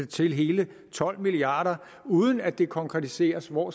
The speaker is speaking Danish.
til hele tolv milliard kr uden at det konkretiseres hvor